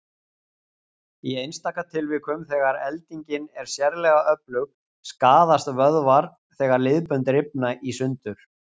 Í einstaka tilvikum, þegar eldingin er sérlega öflug, skaðast vöðvar þegar liðbönd rifna í sundur.